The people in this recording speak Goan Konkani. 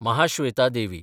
महाश्वेता देवी